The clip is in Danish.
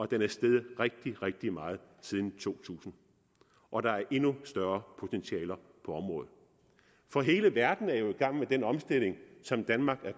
den er steget rigtig rigtig meget siden to tusind og der er endnu større potentialer på området for hele verden er jo i gang med den omstilling som danmark er